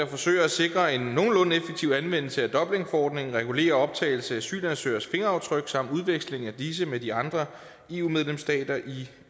forsøger at sikre en nogenlunde effektiv anvendelse af dublinforordningen og regulerer optagelsen af asylansøgeres fingeraftryk samt udveksling af disse med de andre eu medlemsstater i